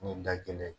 Ni da kelen